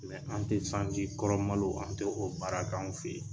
an tɛ sanji kɔrɔ malo, an tɛ o baara k'anw fe ye.